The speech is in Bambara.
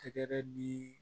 Tɛgɛrɛ di